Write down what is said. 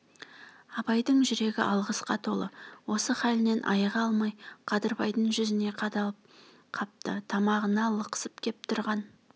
абайдың жүрегі алғысқа толы осы халінен айыға алмай қадырбайдың жүзіне қадалып қапты тамағына лықсып кеп тұрған